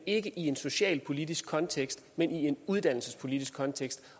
ikke i en socialpolitisk kontekst men i en uddannelsespolitisk kontekst